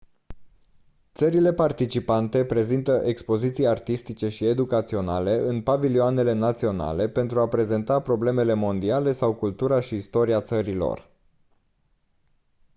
țările participante prezintă expoziții artistice și educaționale în pavilioanele naționale pentru a prezenta problemele mondiale sau cultura și istoria țării lor